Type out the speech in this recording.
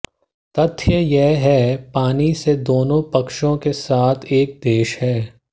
तथ्य यह है पानी से दोनों पक्षों के साथ एक देश है